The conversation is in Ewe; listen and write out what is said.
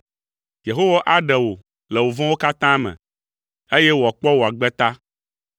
Yehowa aɖe wò le vɔ̃wo katã me, eye wòakpɔ wò agbe ta.